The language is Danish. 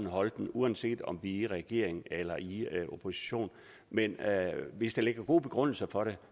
holde den uanset om man i regering eller i opposition men hvis der ligger gode begrundelser for det